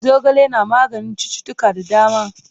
Zogale na maganin cuttutuka da dama.